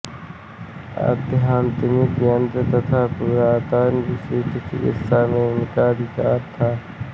आध्यात्मिक तंत्र तथा पुरातन विशिष्ट चिकित्सा में इनका एकाधिकार था